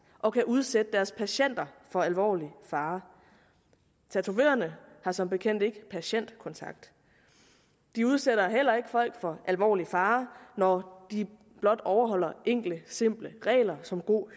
og kan udsætte deres patienter for alvorlig fare tatovørerne har som bekendt ikke patientkontakt de udsætter heller ikke folk for alvorlig fare når de blot overholder enkle simple regler som god